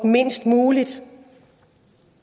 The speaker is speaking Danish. mindst muligt